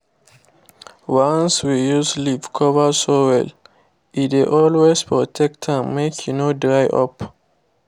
once we use leaf cover soil e dey always protect am make e no dry up